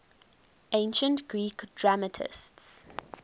ancient greek dramatists